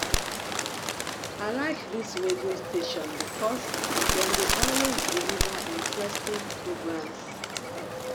i like dis radio station because dem dey always deliver interesting programs